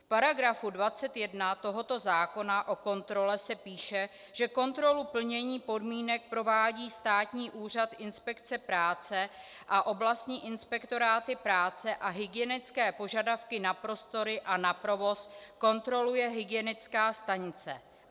V paragrafu 21 tohoto zákona, o kontrole, se píše, že kontrolu plnění podmínek provádí Státní úřad inspekce práce a oblastní inspektoráty práce a hygienické požadavky na prostory a na provoz kontroluje hygienická stanice.